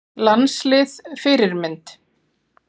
Landslið Fyrirmynd?